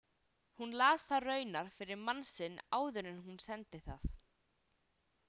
Hún las það raunar fyrir mann sinn áður en hún sendi það.